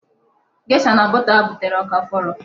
Gesha na bọta m ha butere ọ ka fọrọ?